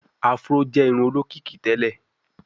afro jé irun olókìkí tèlé.